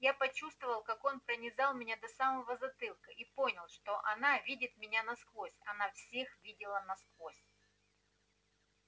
я почувствовал как он пронизал меня до самого затылка и понял что она видит меня насквозь она всех видела насквозь